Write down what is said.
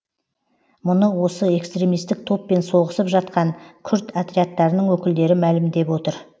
мұны осы экстремистік топпен соғысып жатқан күрд отрядтарының өкілдері мәлімдеп отыр